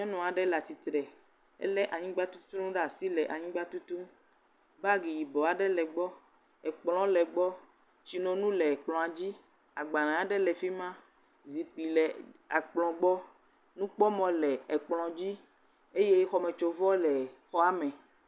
Nyɔnu aɖe le atsitre ele anyigba tutunu ɖe asi le anyigba tutum. Bagi yibɔ aɖe le egbɔ, ekplɔ le egbɔ, tsinonu le ekplɔ dzi, agbale aɖe le fi ma. Zikpui le ekplɔ gbɔ. Nukpɔmɔ le ekplɔ dzi eye xɔmetsovɔ le xɔa me.